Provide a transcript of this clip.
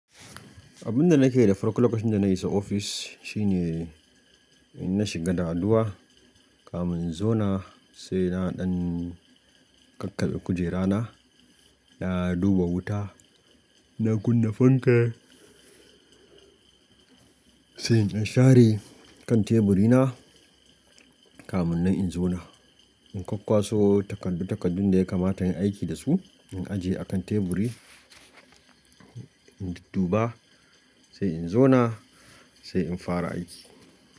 Abin da nake da farko lokacin da na isa ofis shine in na shiga da addu'a, kamin in zauna sai na ɗan kakkabe kujerana, na duba wuta, na kunna fanka sai in share kan teburina kamin nan in zauna. In kwakkwaso takardu-takardun da ya kamata in aiki da su, in ajiye a kan teburi, in dudduba sai in zauna sai in fara aiki.